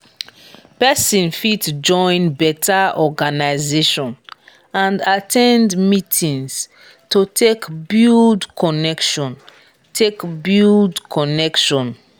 persin fit join better organisation and at ten d meetings to take build connection take build connection